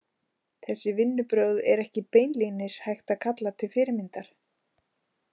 Þessi vinnubrögð er ekki beinlínis hægt að kalla til fyrirmyndar.